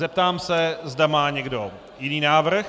Zeptám se, zda má někdo jiný návrh.